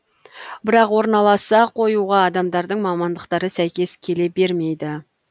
бірақ орналаса қоюға адамдардың мамандықтары сәйкес келе бермейді